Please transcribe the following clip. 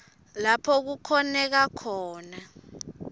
lapho kukhoneka khona